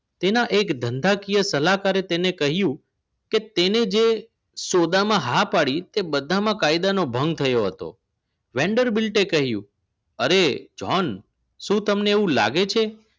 તેને એક ધંધાકીય સલાહકારે તેને કહ્યું કે તેને જે સોદામાં હા પાડી એ બધામાં કાયદાનો ભંગ થયો હતો vendor bilt કહ્યું અરે jhon શું તમને એવું લાગે છે